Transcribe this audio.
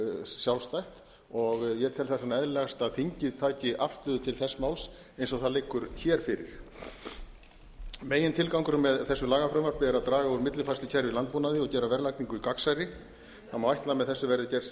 sjálfstætt ég tel þess vegna eðlilegast að þingið taki afstöðu til þess máls eins og það liggur hér fyrir megintilgangurinn með þessu lagafrumvarpi er að draga úr millifærslukerfi í landbúnaði og gera verðlagningu gagnsærri það má ætla að með þessu verði